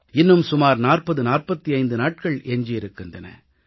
இன்னும் சுமார் 4045 நாட்கள் எஞ்சியிருக்கின்றன